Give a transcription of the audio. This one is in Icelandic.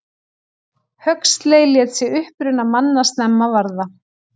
Huxley lét sig uppruna manna snemma varða.